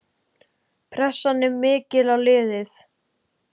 Pressan er mikil á liðið.